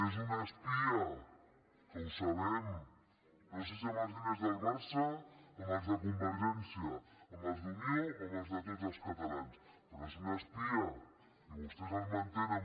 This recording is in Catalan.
és un espia que ho sabem no sé si amb els diners del barça amb els de convergència amb els d’unió o amb els de tots els catalans però és un espia i vostès el mantenen